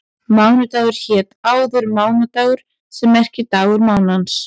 Mánudagur hét áður mánadagur sem merkir dagur mánans.